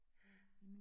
Ja